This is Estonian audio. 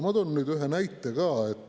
Ma toon nüüd ühe näite ka.